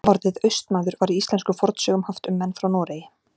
Orðið Austmaður var í íslenskum fornsögum haft um menn frá Noregi.